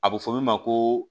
A bɛ fɔ min ma ko